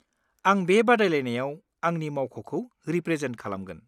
-आं बे बादायलायनायाव आंनि मावख'खौ रिप्रेजेन्ट खालामगोन।